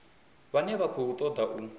vhane vha khou ṱoḓa u